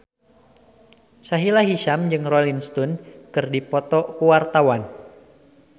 Sahila Hisyam jeung Rolling Stone keur dipoto ku wartawan